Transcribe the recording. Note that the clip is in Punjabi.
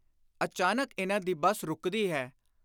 ਅਚਾਨਕ ਇਨ੍ਹਾਂ ਦੀ ਬੱਸ ਰੁਕਦੀ ਹੈ।